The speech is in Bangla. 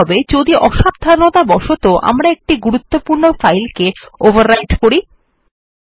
এখন কি হবে যদি অসাবধানতাবশত আমরা একটি গুরুত্বপূর্ণ ফাইল কে ওভাররাইটেন করি160